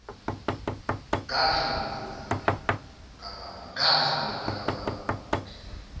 ngadla mina kababa